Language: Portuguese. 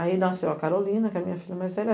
Aí nasceu a Carolina, que é a minha filha mais velha.